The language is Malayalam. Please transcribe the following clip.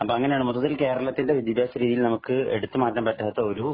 അപ്പൊ അങ്ങനെയാണ് മൊത്തത്തില്‍ കേരളത്തിന്‍റെ വിദ്യാഭ്യാസ രീതിയില്‍ നമുക്ക് എടുത്തു മാറ്റാന്‍ പറ്റാത്ത ഒരു